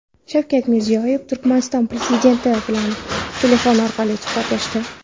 Shavkat Mirziyoyev Turkmaniston prezidenti bilan telefon orqali suhbatlashdi .